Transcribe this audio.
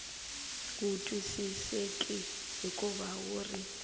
wu twisiseki hikuva wu ri